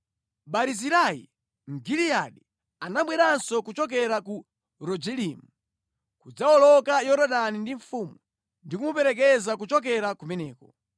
Barizilai Mgiliyadi anabweranso kuchokera ku Rogelimu kudzawoloka Yorodani ndi mfumu ndi kumuperekeza kuchokera kumeneko.